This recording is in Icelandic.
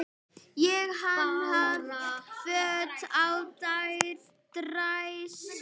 Ég hanna föt á dræsur.